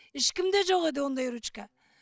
ешкімде жоқ еді ондай ручка